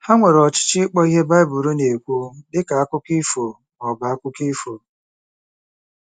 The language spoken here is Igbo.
Ha nwere ọchịchọ ịkpọ ihe Bible na-ekwu dị ka akụkọ ifo ma ọ bụ akụkọ ifo.